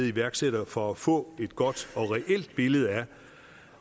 iværksættere for at få et godt og reelt billede af